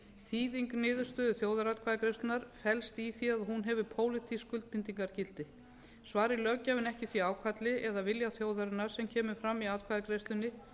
þýðing niðurstöðu þjóðaratkvæðagreiðslunnar felst í því að hún hefur pólitísk skuldbindingargildi svari löggjafinn ekki því ákalli eða vilja þjóðarinnar sem kemur fram í atkvæðagreiðslunni